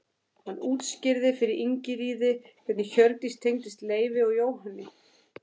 Hann útskýrði fyrir Ingiríði hvernig Hjördís tengdist Leifi og Jóhanni.